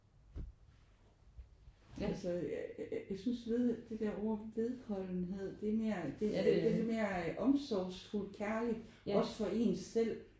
Altså jeg synes ved det der ord vedholdenhed det er mere det det er mere omsorgsfuld kærligt også for en selv